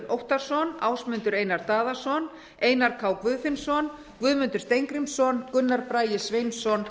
óttarsson ásmundur einar daðason einar k guðfinnsson guðmundur steingrímsson gunnar bragi sveinsson